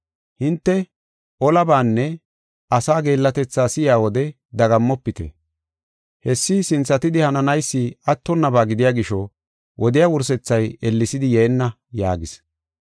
Hinte olabaanne asaa geellatetha si7iya wode dagammofite. Hessi sinthatidi hananaysi attonnaba gidiya gisho wodiya wursethay ellesidi yeenna” yaagis.